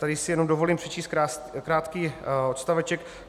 Tady si jenom dovolím přečíst krátký odstaveček.